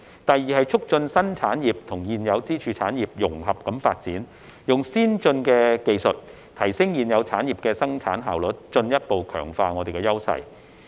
第二是促進新興產業與現有支柱產業融合發展，用先進技術提升現有產業的生產效率，進一步強化優勢。